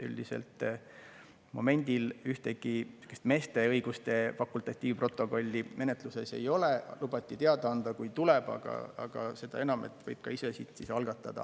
Üldiselt momendil ühtegi meeste õiguste fakultatiivprotokolli menetluses ei ole, lubati teada anda, kui tuleb, seda enam, et võib ka ise siit siis algatada.